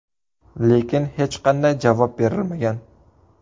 Lekin hech qanday javob berilmagan.